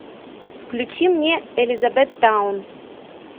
включи мне элизабеттаун